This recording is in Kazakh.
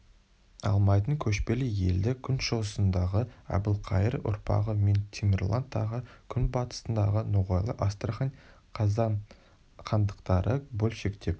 алмайтын көшпелі елді күншығысындағы әбілқайыр ұрпағы мен темірлан тағы күнбатысындағы ноғайлы астрахань қазан хандықтары бөлшектеп